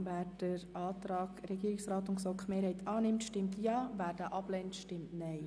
Wer den Antrag von Regierungsrat und GSoK-Mehrheit annimmt, stimmt Ja, wer diesen ablehnt, stimmt Nein.